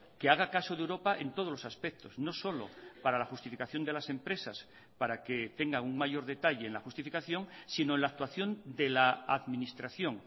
que haga caso de europa en todos los aspectos no solo para la justificación de las empresas para que tenga un mayor detalle en la justificación sino en la actuación de la administración